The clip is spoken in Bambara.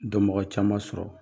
Donmɔgɔ caman sɔrɔ.